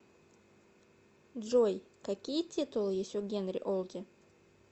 джой какие титулы есть у генри олди